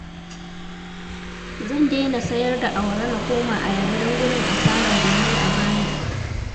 Zan daina sayar da awara na koma ayaba dan gudun asarar da na yi a baya